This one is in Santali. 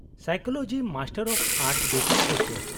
-ᱥᱟᱭᱠᱳᱞᱚᱡᱤ ᱢᱟᱥᱴᱟᱨ ᱚᱯᱷ ᱟᱨᱴᱥ ᱵᱮᱯᱟᱨ ᱫᱚ ᱪᱮᱫ ?